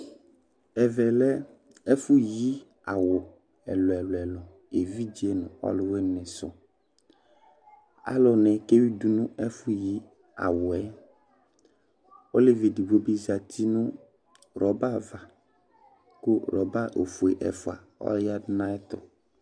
Ɛvɛlɛ ɛfʋ yi awu ɛlu ɛlu Evidze ŋu ɔlʋwìní su Alu ni kewidu nu ɛfʋ yi awu yɛ Ɔlevi ɛɖigbo bi zɛti ŋu rubber ava kʋ rubber ɔfʋe ɛfʋa ɔyaɖu ŋu ayɛtu